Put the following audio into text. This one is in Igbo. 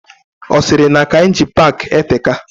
Osiri na Kainji park eteka.